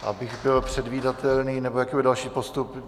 Abych byl předvídatelný - nebo jaký bude další postup?